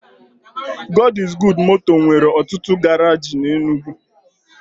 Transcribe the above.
God is Good moto nwere otutu garaji n'Enugwu.